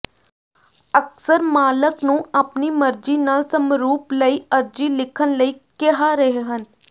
ਅਕਸਰ ਮਾਲਕ ਨੂੰ ਆਪਣੀ ਮਰਜ਼ੀ ਨਾਲ ਸਮਰੂਪ ਲਈ ਅਰਜ਼ੀ ਲਿਖਣ ਲਈ ਕਿਹਾ ਰਹੇ ਹਨ